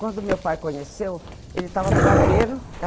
Quando meu pai conheceu, ele estava no barbeiro.